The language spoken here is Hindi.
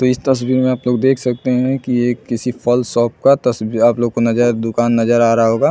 तो इस तस्वीर में आप लोग देख सकते है कि ये किसी फल शॉप का तस्वीर आप लोगों को नज़र दूकान नज़र आ रहा होगा--